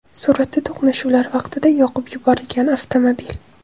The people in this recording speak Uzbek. Suratda to‘qnashuvlar vaqtida yoqib yuborilgan avtomobil.